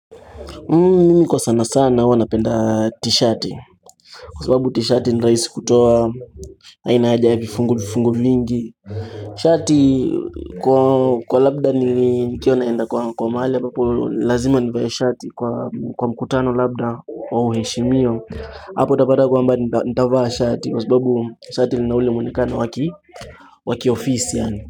Mimi kwa sana sana huwa napenda t-shirt kwa sababu t-shirt ni raisi kutoa haina haja ya vifungu vifungu vingi shati kwa labda nikiwa naenda kwa mahali ambapi lazima nivae shati kwa mkutano labda wa uheshimiwa hapo utapata kwamba nitavaa shati kwa sababu shati lina ule mwonekano wa kiofisi yaani.